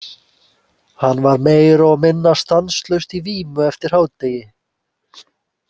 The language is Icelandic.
Hann var meira og minna stanslaust í vímu eftir hádegi.